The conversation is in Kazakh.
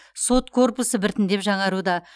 сот корпусы біртіндеп жаңаруда